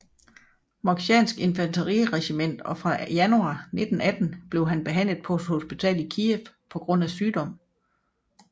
Moksjanske infanteriregiment og fra januar 1918 blev han behandlet på et hospital i Kiev på grund af sygdom